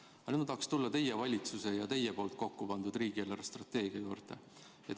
Aga nüüd ma tahaks tulla teie valitsuse ja teie koostatud riigi eelarvestrateegia juurde.